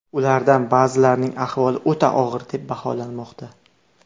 Ulardan ba’zilarining ahvoli o‘ta og‘ir deb baholanmoqda.